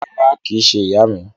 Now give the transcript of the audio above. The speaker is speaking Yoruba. Rárá, kìí se ìyá mi